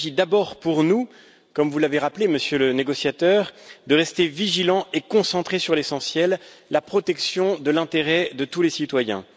Il s'agit d'abord pour nous, comme vous l'avez rappelé, Monsieur le négociateur, de rester vigilants et concentrés sur l'essentiel la protection de l'intérêt de tous les citoyens.